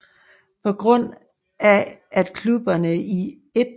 På grund af at klubberne i 1